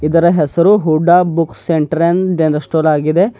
ಇದರ ಹೆಸರು Uda book centre and general store ಆಗಿದೆ.